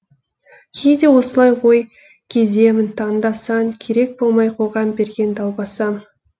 кейде осылай ой кеземін таңда сан керек болмай қоғам берген далбасам